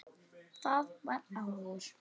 Það var áður.